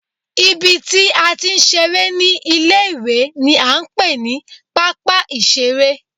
Ibi tí a ti ń ṣeré ní ilé ìwé ni à ń pè ní pápá ìṣeré